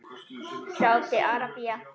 Sádi Arabía